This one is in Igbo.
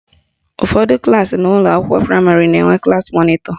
Ụfọdụ klaasị n'ụlọakwụkwọ praịmarị na-enwe klassi mọnịtọ